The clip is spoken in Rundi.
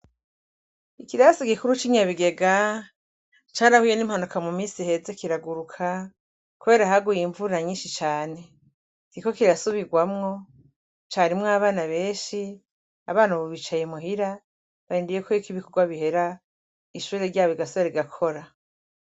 Ikirasi gikuru c'Inyabigega carahuye n'impanuka mu misi iheze kiraguruka, kubera haguye imvura nyinshi cane. Kiriko kirasubirwamwo, carimwo abana benshi, abana ubu bicaye muhira barindiriye ko ibikogwa bihera, ishure ryabo rigasubira rigakora.